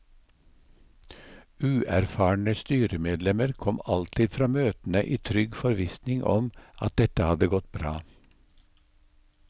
Uerfarne styremedlemmer kom alltid fra møtene i trygg forvissning om at dette hadde gått bra.